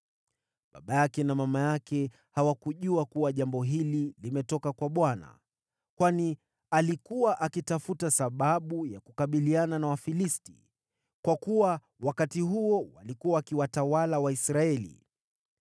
(Baba yake na mama yake hawakujua kuwa jambo hili limetoka kwa Bwana , kwani alikuwa akitafuta sababu ya kukabiliana na Wafilisti; kwa kuwa wakati huo walikuwa wakiwatawala Waisraeli.)